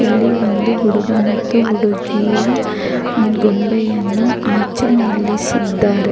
ಇಲ್ಲಿ ಒಂದು ಹುಡುಗ ಮತ್ತು ಹುಡುಗಿಯ ಗೊಂಬೆಯನ್ನು ಆಚೆ ನಿಲ್ಲಿಸಿದ್ದಾರೆ.